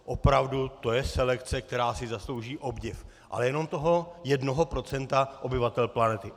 Opravdu, to je selekce, která si zaslouží obdiv, ale jenom toho jednoho procenta obyvatel planety.